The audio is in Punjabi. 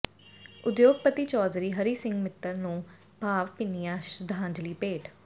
ਉਦਯੋਗਪਤੀ ਚੌਧਰੀ ਹਰੀ ਸਿੰਘ ਮਿੱਤਲ ਨੂੰ ਭਾਵਭਿੰਨੀਆਂ ਸ਼ਰਧਾਂਜਲੀਆਂ ਭੇਟ